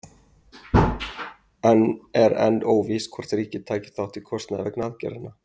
En er enn óvíst hvort ríkið taki þátt í kostnaði vegna aðgerðanna?